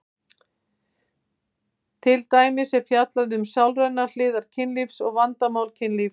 Til dæmis er fjallað um sálrænar hliðar kynlífs og vandamál kynlífs.